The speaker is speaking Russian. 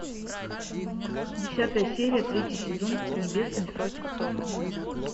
десятая серия третий сезон небесный суд